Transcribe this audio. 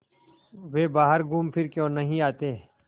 वे बाहर घूमफिर क्यों नहीं आते